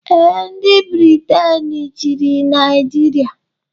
Ee, ndị Briten chịrị Naijiria